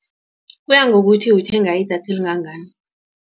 Kuya ngokuthi uthenga idatha elingangani.